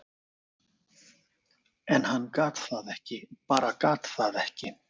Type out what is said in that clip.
en hann gat það ekki, bara gat það ekki.